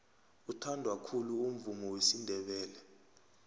uthandwa khulu umvumo wesindebele